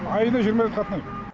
айына жиырма рет қатынаймын